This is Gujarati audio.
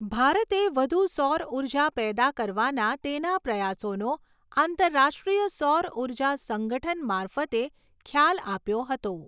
ભારતે વધુ સૌર ઉર્જા પેદા કરવાના તેના પ્રયાસોનો આંતરરાષ્ટ્રીય સૌરઊર્જા સંગઠન મારફતે ખ્યાલ આપ્યો હતો.